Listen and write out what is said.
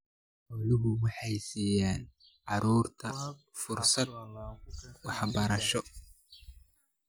Xooluhu waxay siiyaan carruurta fursado waxbarasho.